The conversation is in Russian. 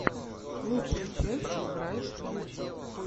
лучшая часть брайт фьюче